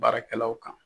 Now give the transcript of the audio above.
Baarakɛlaw kan